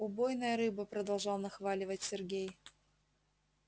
убойная рыба продолжал нахваливать сергей